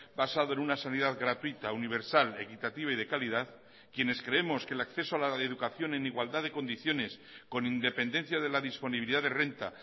basado en una sanidad gratuita universal equitativa y de calidad quienes creemos que el acceso a la educación en igualdad de condiciones con independencia de la disponibilidad de renta